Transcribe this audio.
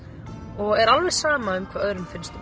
og er alveg sama hvað öðrum finnst